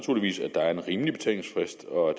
der er en rimelig betalingsfrist og at